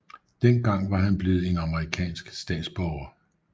Dengang var han blevet en amerikansk statsborger